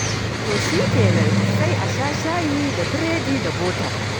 To shi kenan, sai a sha shayi da biredi da bota.